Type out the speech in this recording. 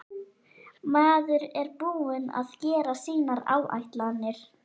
Maður er búinn að gera sínar áætlanir.